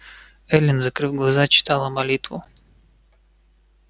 эллин закрыв глаза читала молитву